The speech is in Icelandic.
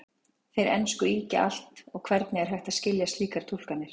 Þeir ensku ýkja allt og hvernig er hægt að skilja slíkar túlkanir?